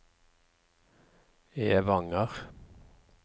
Evanger